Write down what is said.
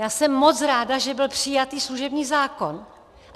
Já jsem moc ráda, že byl přijatý služební zákon.